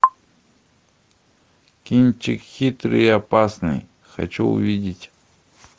кинчик хитрый и опасный хочу увидеть